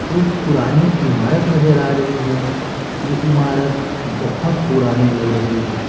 एक पुरानी इमारत नजर आ रही है यह इमारत बहुत पुरानी लग रही है।